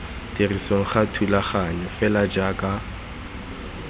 tirisong ga thulaganyo fela jaaka